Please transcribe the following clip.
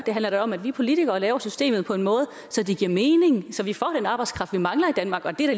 det handler da om at vi politikere laver systemet på en måde så det giver mening og så vi får den arbejdskraft som vi mangler i danmark og det er